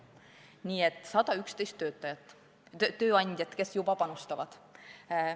Nii et on 111 tööandjat, kes juba panustavad.